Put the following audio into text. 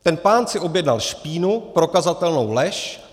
Ten pán si objednal špínu, prokazatelnou lež.